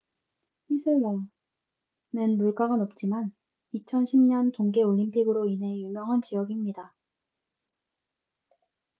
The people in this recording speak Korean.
휘슬러밴쿠버에서 자동차로 1.5시간 거리는 물가가 높지만 2010년 동계 올림픽으로 인해 유명한 지역입니다